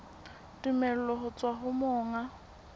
tumello ho tswa ho monga